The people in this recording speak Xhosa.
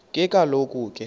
ke kaloku ke